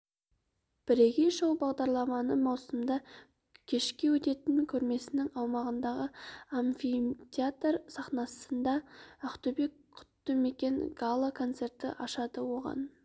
бірегей шоу бағдарламаны маусымда кешке өтетін көрмесінің аумағындағы амфитеатр сахнасында ақтөбе құтты мекен гала концерті ашады оған